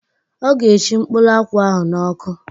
Ọ ga eshi mkpụrụ akwụ ahụ n'ọkụ